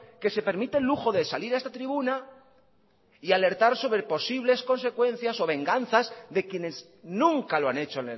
que se permite el lujo de salir a esta tribuna y alertar sobre el posible consecuencias o venganzas de quienes nunca lo han hecho